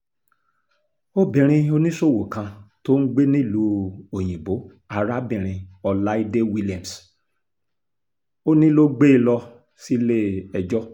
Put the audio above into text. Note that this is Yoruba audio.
obìnrin oníṣòwò kan tó ń gbé nílùú òyìnbó arábìnrin ọláìdé williams-òní ló gbé e lọ sílé-ẹjọ́